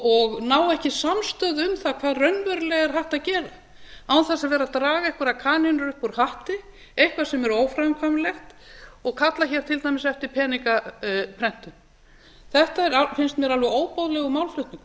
og ná ekki samstöðu um það hvað raunverulega er hægt að gera án þess að vera að draga einhverjar kanínur upp úr hatti eitthvað sem er óframkvæmanlegt og kalla hér til dæmis eftir peningaprentun þetta finnst mér alveg óboðlegur málflutningur